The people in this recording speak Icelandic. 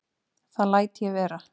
Það læt ég vera